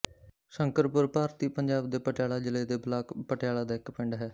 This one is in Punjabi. ਸ਼ੰਕਰਪੁਰ ਭਾਰਤੀ ਪੰਜਾਬ ਦੇ ਪਟਿਆਲਾ ਜ਼ਿਲ੍ਹੇ ਦੇ ਬਲਾਕ ਪਟਿਆਲਾ ਦਾ ਇੱਕ ਪਿੰਡ ਹੈ